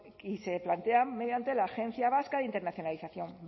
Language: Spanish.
se plantean mediante la agencia vasca de internalización